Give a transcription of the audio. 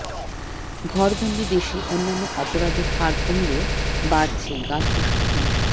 ঘরবন্দি দেশে অন্যান্য অপরাধের হার কমলেও বাড়ছে গার্হস্থ্য হিংসা